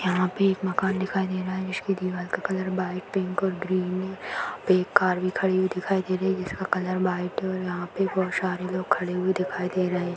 यहाँ पे एक मकान दिखाई दे रहा है जिसकी दीवार का कलर व्हाइट पिंक और ग्रीन है यहां पे एक कार भी खड़ी हुई दिखाई दे रहा है जिसका कलर व्हाइट है और यहाँ पे बहुत सारे लोग खड़े हुए दिखाई दे रहे है।